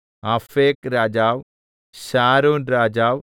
അഫേക് രാജാവ് ശാരോൻരാജാവ്